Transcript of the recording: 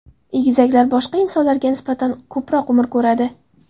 Egizaklar boshqa insonlarga nisbatan ko‘proq umr ko‘radi.